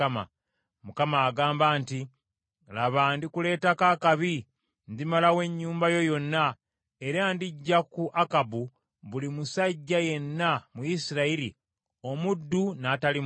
Mukama agamba nti, ‘Laba ndikuleetako akabi, ndimalawo ennyumba yo yonna, era ndiggya ku Akabu buli musajja yenna mu Isirayiri, omuddu n’atali muddu.